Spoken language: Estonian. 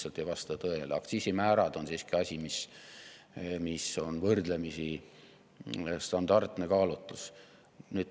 Aktsiisimäärade on siiski asi, mis on võrdlemisi standardne kaalutlus.